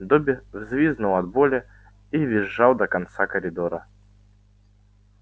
добби взвизгнул от боли и визжал до конца коридора